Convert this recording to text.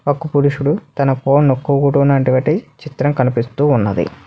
ఒక పురుషుడు తన ఫోన్ నొక్కుకుంటున్నవంటి చిత్రం కనిపిస్తూ ఉన్నది.